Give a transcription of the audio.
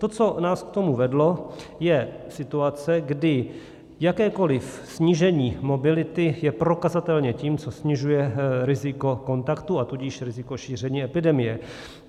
To, co nás k tomu vedlo, je situace, kdy jakékoliv snížení mobility je prokazatelně tím, co snižuje riziko kontaktu, a tudíž riziko šíření epidemie.